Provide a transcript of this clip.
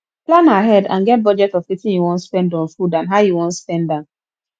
plan ahead and get budget of wetin you wan spend on food and how you wan spend am